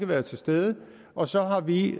været til stede og så har vi